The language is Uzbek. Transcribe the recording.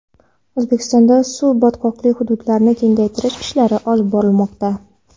O‘zbekistonda suv-botqoqli hududlarni kengaytirish ishlari olib borilmoqda.